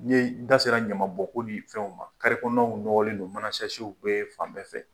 N ye n da sera ɲamabɔnko ni fɛnw ma carré kɔnɔnaw nɔgɔlen don manan sachew bɛ fan bɛɛ fɛ